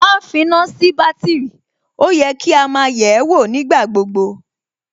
ma ń finá sí bátìrì, ó yẹ kí á máa yẹ̀ẹ́wò nígbà gbogbo